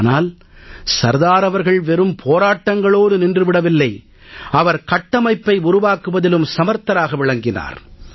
ஆனால் சர்தார் அவர்கள் வெறும் போராட்டங்களோடு நின்று விடவில்லை அவர் கட்டமைப்பை உருவாக்குவதிலும் சமர்த்தராக விளங்கினார்